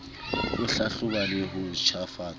ho hlahloba le ho ntjhafatsa